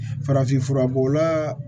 Farafin fura b'o la